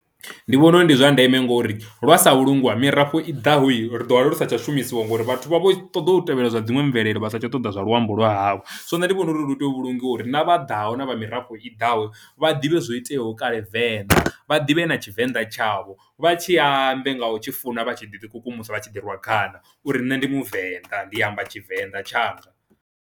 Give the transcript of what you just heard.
Ndi vhona uri ndi zwa ndeme ngori lwa sa vhulungwa mirafho i ḓaho hi ri ḓo wana lu sa tsha shumisiwa ngori vhathu vha vho ṱoḓa u tevhela zwa dziṅwe mvelele vha satsha ṱoḓa zwa luambo lwa havho. So nṋe ndi vhona uri lu tea u vhulungiwa uri na vha ḓaho na vha mirafho i ḓaho vha ḓivhe zwo iteaho kale venḓa, vha ḓivhe na tshivenḓa tshavho vha tshi ambe nga u tshi funa vha tshi ḓi kukumusa vha tshi ḓi rwa khana uri nṋe ndi muvenḓa ndi amba tshivenda tshanga.